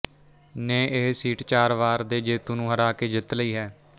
ਨੇ ਇਹ ਸੀਟ ਚਾਰ ਵਾਰ ਦੇ ਜੇਤੂ ਨੂੰ ਹਰਾ ਕਿ ਜਿੱਤ ਲਈ ਹੈ